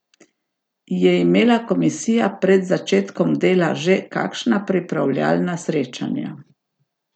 Je imela komisija pred začetkom dela že kakšna pripravljalna srečanja?